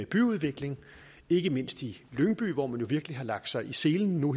byudvikling ikke mindst i lyngby hvor man virkelig har lagt sig i selen nu